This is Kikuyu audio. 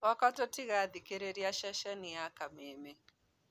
Gwakwa tũthikagĩrĩria ceceni ya Kameme.